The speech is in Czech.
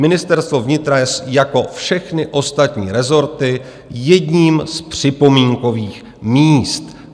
Ministerstvo vnitra je jako všechny ostatní rezorty jedním z připomínkových míst.